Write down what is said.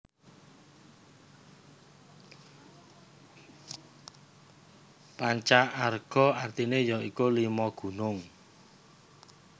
Panca Arga artine ya iku Lima Gunung